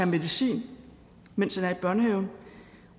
medicin mens han er i børnehaven